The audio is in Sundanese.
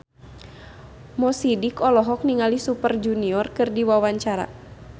Mo Sidik olohok ningali Super Junior keur diwawancara